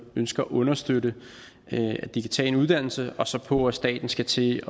ønsker at understøtte at de kan tage en uddannelse og så på at staten skal til